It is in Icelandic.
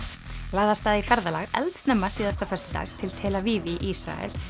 lagði af stað í ferðalag eldsnemma síðasta föstudag til tel Aviv í Ísrael